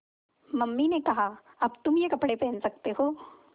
mummy ने कहा अब तुम ये कपड़े पहन सकते हो